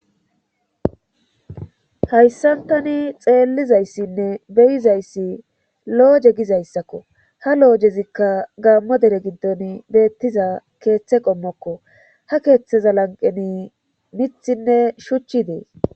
Hayssantani xeellizayssinne beyizayssi lo7oje gizayssakko ha lo7ojezikka gaammo dere giddon beettiza keeththe qommokko ha keeththeza lanqeni mithinne shuchchi dees